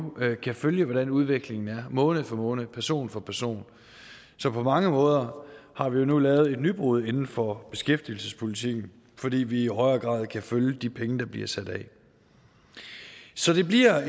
kan følge hvordan udviklingen er måned for måned person for person så på mange måder har vi jo nu lavet et nybrud inden for beskæftigelsespolitikken fordi vi i højere grad kan følge de penge der bliver sat af så det bliver